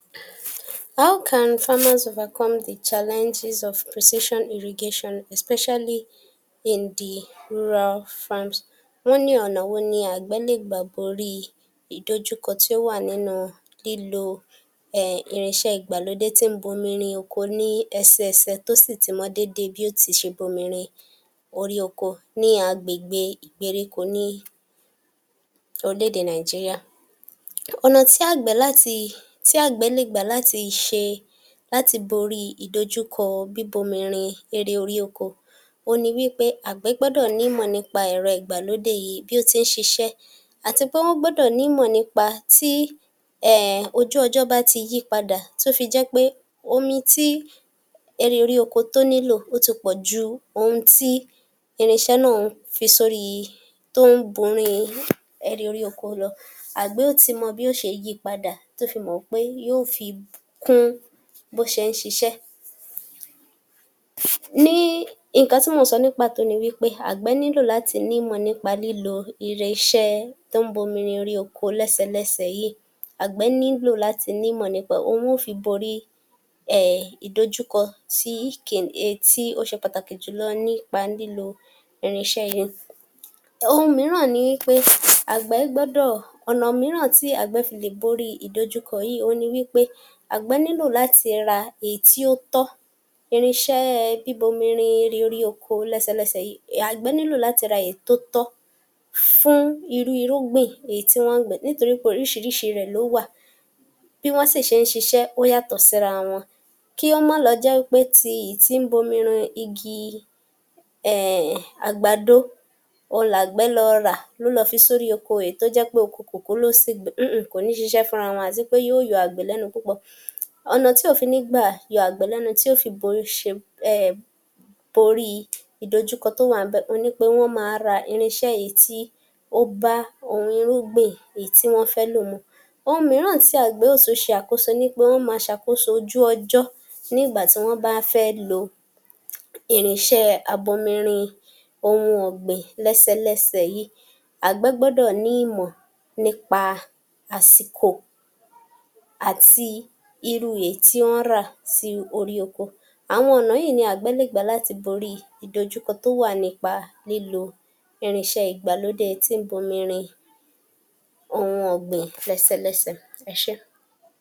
How can farmers overcome the challenges of precision irrigation especially in the rural farms? wọ́n ní ọ̀nà wo ni àgbẹ̀ le gbà borí ìdojúkọ tí ó wà nínú lílo um irinṣẹ́ ìgbàlódé tí ń bomi rin oko ní ẹsẹẹsẹ tó sì ti mọ déédéé bí ó ti ṣe bomi rin orí oko ní agbègbè ìgbèríko ní orílẹ̀-èdè Nàìjíríà. Ọ̀nà tí àgbẹ̀ láti, tí àgbẹ̀ lè gbà láti ṣe, láti borí ìdojúkọ bíbomi rin erè orí oko òhun ni wípé, àgbẹ̀ gbọ́dọ̀ nímọ̀ nípa ẹ̀rọ ìgbàlódé yìí, bí ó ti ń ṣiṣẹ́ àti pé wọ́n gbọ́dọ̀ nímọ̀ nípa tí um ojú ọjọ́ bá ti yípadà tó fi jẹ́ pé omi tí erì orí oko tó nílò ó ti pọ̀ ju ohun tí irinṣẹ́ náà ń fi sórí, tó ń bùrin um erì orí oko lọ, àgbẹ̀ ó ti mọ bó ṣe yí i padà, tí ó fi mọ̀ pé yóò fi kún bó ṣe ń ṣiṣẹ́. um ni nǹkan tí mò ń sọ ní pàtó ni wípé, àgbẹ̀ nílò láti nímọ̀ nípa lílo irinṣẹ́ tó ń bomi rin erì oko lẹ́sẹlẹ́sẹ yìí, àgbẹ̀ nílò láti nímọ̀ nípa ẹ̀, òhun ni wọn ó fi borí um ìdojúkọ tí kì í ń um tí ó ṣe pàtàkì jùlọ nípa lílo irinṣẹ́ yìí[um]. Ohun mìíràn ni pé àgbẹ̀ gbọ́dọ̀, ọ̀nà mìíràn tí àgbẹ̀ fi lè borí ìdojúkọ yìí, òhun ni wípé àgbẹ̀ nílò láti ra èyí tí o tọ́, irinṣẹ́ bíbomi rin erì orí oko lẹ́sẹlẹ́sẹ yii, àgbẹ̀ nílò láti ra èyí tó, ra èyí tó tọ́ fún irú irúgbìn èyí tí wọ́n ń gbìn. Nítorí pé oríṣiríṣi rẹ̀ ló wà, bí wọ́n sì ṣe ń ṣiṣẹ́, ó yàtọ̀ síra wọn, kí ó má lọ jẹ́ pé ti èyí tí ń bomi rin igi um àgbàdo òhun làgbẹ̀ lọ rà, ló lọ fi sórí oko èyi tó jẹ́ pé oko kòkó ló sì gbẹ̀ um kò ní ṣiṣẹ́ fúnra wọn, àti pé yóò yọ àgbẹ̀ lẹ́nu púpọ̀. Ọ̀nà tí ò fi ní í gbà yọ àgbẹ̀ lẹ́nu tí ó fi borí ṣe um borí ìdojúkọ tó wà ńbẹ̀ òhun ni wípé wọ́n máa ra irinṣẹ́ èyí tí ó bá ohun irúgbìn èyí tí wọ́n fẹ́ lò mu, ohun mìíràn tí àgbẹ̀ yóò tún ṣe àkóso ni pé, wọ́n máa ṣàkóso ojú ọjọ́ nígbà tí wọ́n bá fẹ́ lo irinṣẹ́ abomi rin ohun ọ̀gbìn lẹ́sẹlẹ́sẹ yìí, àgbẹ̀ gbọ́dọ̀ ní ìmọ̀ nípa àsìkò àti irú èyí tí wọ́n rà sí orí oko, àwọn ọ̀nà yìí ni àgbẹ̀ le gbà láti borí ìdojúkọ tó wà nípa lílo irinṣẹ́ ìgbàlódé tí ń bomi rin ohun ògbìn lẹ́sẹlẹ́sẹ. Ẹ ṣé